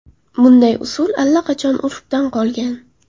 Bunday usul allaqachon urfdan qolgan.